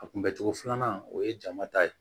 A kunbɛ cogo filanan o ye jama ta ye